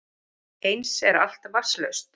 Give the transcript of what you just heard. Eins er allt vatnslaust